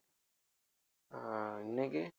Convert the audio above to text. ஆஹ் இன்னைக்கு